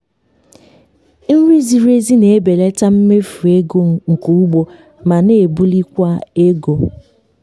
nri ziri ezi na-ebelata mmefu ego nke ugbo ma na-ebulikwa ego.